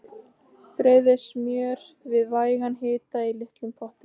Heilsteypt hönd þín á regnvotri fjallsöxl minni.